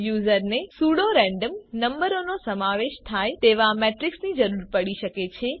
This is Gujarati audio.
યુઝરને સ્યૂડો રેન્ડમ નંબરોનો સમાવેશ થાય તેવા મેટ્રિક્સની જરૂર પડી શકે છે